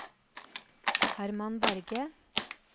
Hermann Berge